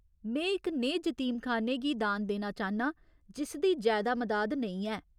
में इक नेह् जतीमखान्ने गी दान देना चाह्न्नां जिसदी जैदा मदाद नेईं ऐ।